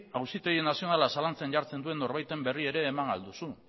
auzitegi nazionala zalantzan jartzen duen norbaiten berri ere eman ahal duzu